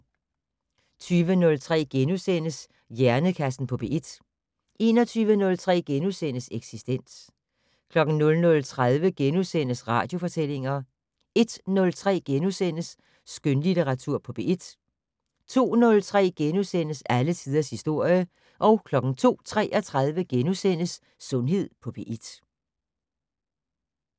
20:03: Hjernekassen på P1 * 21:03: Eksistens * 00:30: Radiofortællinger * 01:03: Skønlitteratur på P1 * 02:03: Alle tiders historie * 02:33: Sundhed på P1 *